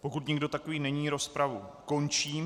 Pokud nikdo takový není, rozpravu končím.